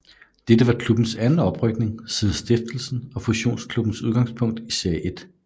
Dette var klubbens anden oprykning siden stiftelsen og fusionsklubbens udgangspunkt i Serie 1